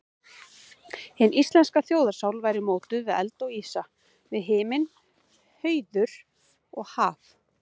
Hin íslenska þjóðarsál væri mótuð við eld og ísa, við himinn, hauður og haf.